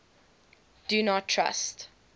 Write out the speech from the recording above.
do not trust